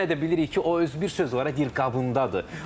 Yenə də bilirik ki, o öz bir söz var, deyir qabındadır.